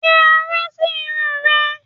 Fi aró sí irun rẹ!